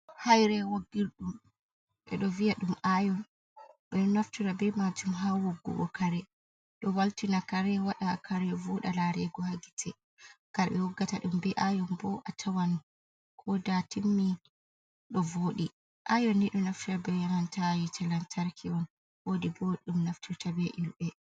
Haire woggirɗum ɓeɗo viya ɗum ayon, ɓeɗo naftira be majum ha woggugo kare, ɗo waltina kare waɗa kare voɗa larego hagite, kare ɓe woggata ɗum be ayon bo a tawan koda timmi ɗo voɗi, ayon ni ɗo naftira be nanta hite lantarki on, wodi bo ɗum naftirta be ƴulɓe.